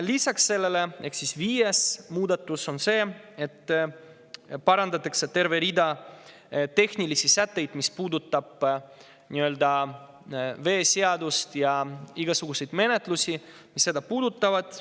Lisaks, viies muudatus on see, et parandatakse tervet hulka tehnilisi sätteid, mis puudutavad veeseadust ja igasuguseid sellega seotud menetlusi.